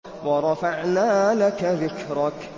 وَرَفَعْنَا لَكَ ذِكْرَكَ